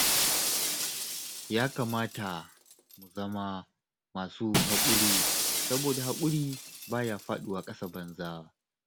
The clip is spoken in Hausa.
Ya kamata mu zama masu haƙuri, saboda haƙuri ba ya faɗuwa ƙasa banza